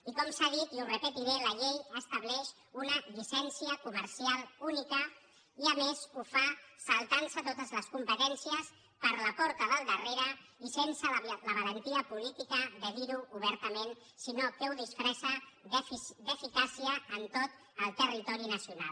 i com s’ha dit i ho repetiré la llei estableix una llicència comercial única i a més ho fa saltant se totes les competències per la porta del darrere i sense la valentia política de dir ho obertament sinó que ho disfressa d’eficàcia en tot el territori nacional